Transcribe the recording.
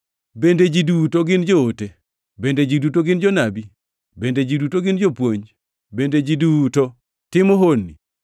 Bende ji duto gin joote? Bende ji duto gin jonabi? Bende ji duto gin jopuonj? Bende ji duto timo honni?